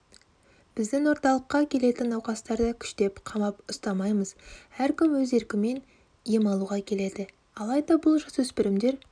біздің орталыққа келетін науқастарды күштеп қамап ұстамаймыз әркім өз еркімен ем алуға келеді алайда бұл жасөспірімдер